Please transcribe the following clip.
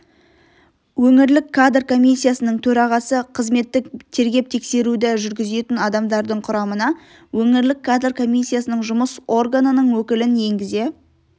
өңірлік кадр комиссиясының төрағасы қызметтік тергеп-тексеруді жүргізетін адамдардың құрамына өңірлік кадр комиссиясының жұмыс органының өкілін енгізе